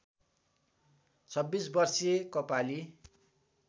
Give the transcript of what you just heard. २६ वर्षीय कपाली